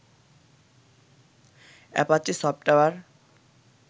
Apache software